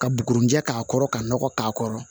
Ka bugurunjɛ k'a kɔrɔ ka nɔgɔ k'a kɔrɔ